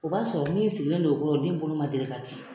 O b'a sɔrɔ min sigilen don o kɔrɔ o den bolo ma deli ka ci.